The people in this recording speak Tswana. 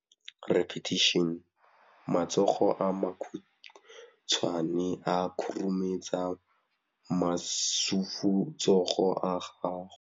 Matsogo a makhutshwane a khurumetsa masufutsogo a gago.